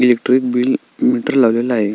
Electric bill meter लावलेल आहे.